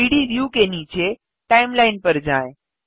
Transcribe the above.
3 D view के नीचे timeline पर जाएँ